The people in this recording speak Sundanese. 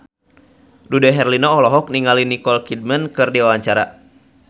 Dude Herlino olohok ningali Nicole Kidman keur diwawancara